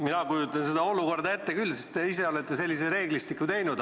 Mina kujutan seda olukorda ette küll, sest te ise olete sellise reeglistiku teinud.